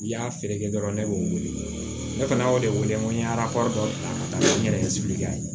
I y'a feere kɛ dɔrɔn ne b'o wele ne fana y'o de wele ko n ye ala ka n yɛrɛ sigi